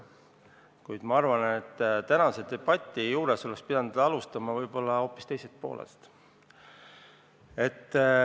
Kuid ma arvan, et tänases debatis oleks pidanud alustama võib-olla hoopis teisest poolest.